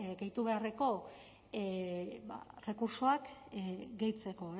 gehitu beharreko errekurtsoak gehitzeko